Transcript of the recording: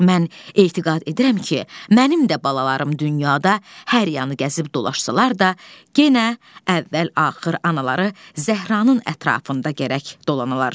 Mən etiqad edirəm ki, mənim də balalarım dünyada hər yanı gəzib dolaşsalar da, yenə əvvəl-axır anaları Zəhranın ətrafında gərək dolanalar.